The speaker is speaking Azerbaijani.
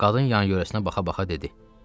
Qadın yan-yörəsinə baxa-baxa dedi: